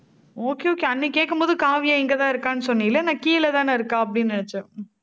okay, okay அன்னைக்கு கேக்கும் போது காவியா இங்கதான் இருக்கான்னு சொன்னில்ல நான் கீழேதானே இருக்கா அப்படின்னு நினைச்சேன்